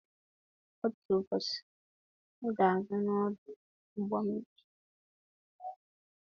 Otu ụbọchị, m ga-aga n'ọdụ ụgbọ mmiri.